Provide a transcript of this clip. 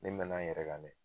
Ne mɛna n yɛrɛ kan dɛ